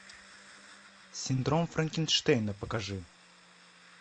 синдром франкенштейна покажи